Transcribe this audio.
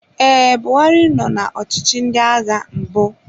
Ee, Buhari nọ na ọchịchị ndị agha mbụ.